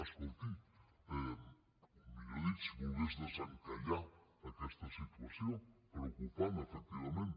escolti millor dit si volgués desencallar aquesta situació preocupant efectivament